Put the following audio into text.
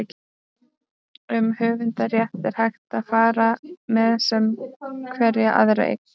um höfundarrétt er hægt að fara með sem hverja aðra eign